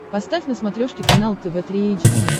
поставь на смотрешке канал тв три эйч ди